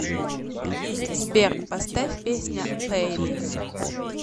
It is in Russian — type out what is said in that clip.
сбер поставь песня пэй ми